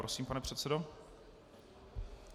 Prosím, pane předsedo.